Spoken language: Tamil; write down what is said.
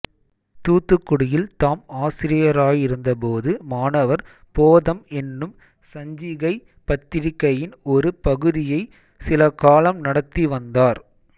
தூத்துக்குடியில் தாம் ஆசிரியராயிருந்தபோது மாணவர் போதம் என்னும் சஞ்சிகைபத்திரிக்கையின் ஒரு பகுதியைச் சிலகாலம் நடத்தி வந்தார்